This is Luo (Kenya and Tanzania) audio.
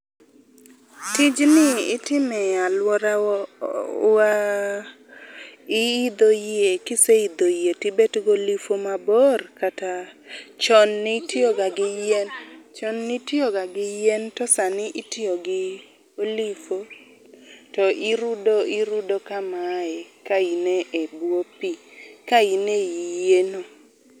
tij ni itime aluorawa Iidho yie, kiseidho yie ibed gi oliho mabor kata. chon ni tiyo ga gi yien chon ni tiyo ga gi yien to sani itiyo gi oliho to irudo irudo kamae ka in ei buo pie ka in ei yieno.